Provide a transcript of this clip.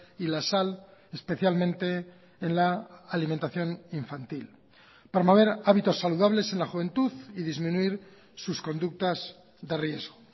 y la sal especialmente en la alimentación infantil promover hábitos saludables en la juventud y disminuir sus conductas de riesgo